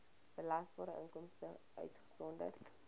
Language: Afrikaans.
belasbare inkomste uitgesonderd